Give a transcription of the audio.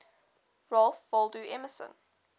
ralph waldo emerson